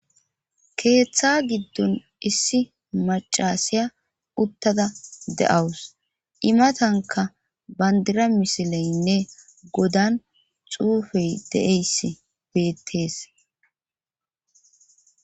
Keeththa giddon issi macasiya uttada de'awus imatanka bandira misileynne godan xuufey deeyss beettees.